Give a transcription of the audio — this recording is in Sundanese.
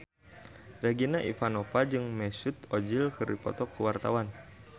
Regina Ivanova jeung Mesut Ozil keur dipoto ku wartawan